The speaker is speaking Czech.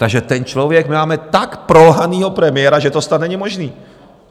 Takže ten člověk, my máme tak prolhaného premiéra, že to snad není možné.